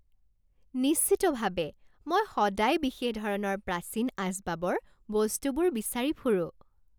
নিশ্চিতভাৱে! মই সদায় বিশেষ ধৰণৰ প্ৰাচীন আচবাবৰ বস্তুবোৰ বিচাৰি ফুৰোঁ।